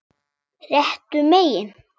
Réttu megin?